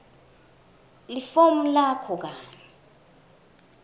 lifomu lakho kanye